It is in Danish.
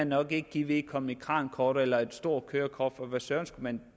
nok ikke give vedkommende et krankort eller et stort kørekort for hvad søren skulle man